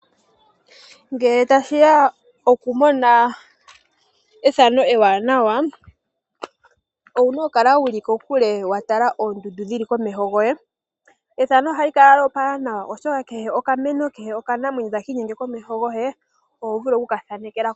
Ngele tashiya okumona ethano ewaanawa, owuna okukala wuli kokule watala oondundu dhili komeho goye ethano ohali kala lyoopala nawa oshoka kehe okameno, kehe okanamweyo takiinyenge komeho goye ohovulu okukathanekelako.